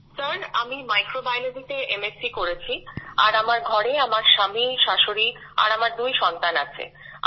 sir আমি Microbiologyতে MSc করেছি আর আমার ঘরে আমার স্বামী শ্বাশুড়ি আর আমার দুই সন্তান আছে